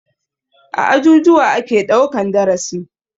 A ajujuwa ake ɗaukan darasi.